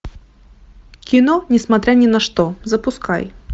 кино несмотря ни на что запускай